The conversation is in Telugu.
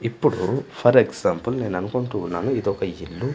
ఇప్పుడు ఫర్ ఎగ్జాంపుల్ నేను అనుకుంటూ ఉన్నాను ఇదొక ఇల్లు.